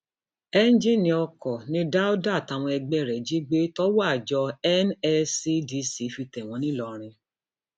ẹńjìnnì oko ni dauda àtàwọn ẹgbẹ ẹ jí gbé tọwọ àjọ nscdc fi tẹ wọn ńlọrọrìn